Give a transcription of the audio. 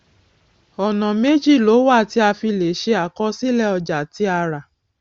ọnà méjì ló wà tí a fi lè ṣe àkọsílẹ ọjà tí a rà